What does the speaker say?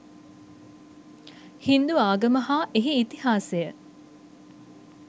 හින්දු ආගම හා එහි ඉතිහාසය